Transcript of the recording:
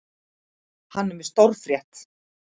Hann er með stórfréttir.